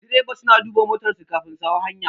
Direba suna duba motar su kafin su hau hanya